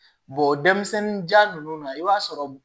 denmisɛnninjan ninnu na i b'a sɔrɔ